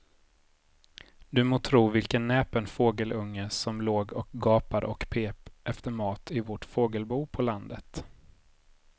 Du må tro vilken näpen fågelunge som låg och gapade och pep efter mat i vårt fågelbo på landet.